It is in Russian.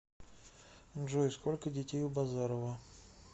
джой сколько детей у базарова